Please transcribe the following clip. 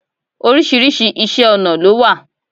Oríṣiríṣi Iṣẹ́-ọ̀nà ló wà.